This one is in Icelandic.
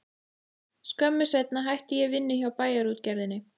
Skömmu seinna hætti ég vinnu hjá Bæjarútgerðinni.